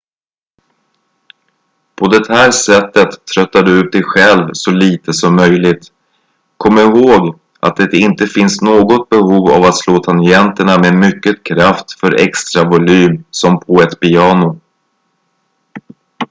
på det här sättet tröttar du ut dig själv så lite som möjligt kom ihåg att det inte finns något behov av att slå tangenterna med mycket kraft för extra volym som på ett piano